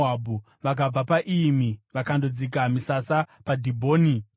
Vakabva paIyimi vakandodzika misasa paDhibhoni Gadhi.